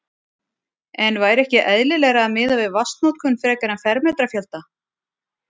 En væri ekki eðlilegra að miða við vatnsnotkun frekar en fermetrafjölda?